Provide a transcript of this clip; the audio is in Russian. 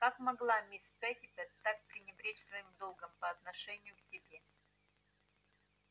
как могла мисс питтипэт так пренебречь своим долгом по отношению к тебе